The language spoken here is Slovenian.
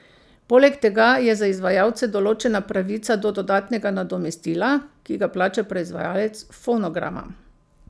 Poleg tega je za izvajalce določena pravica do dodatnega nadomestila, ki ga plača proizvajalec fonograma.